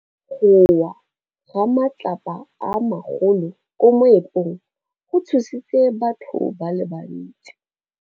Go wa ga matlapa a magolo ko moepong go tshositse batho ba le bantsi.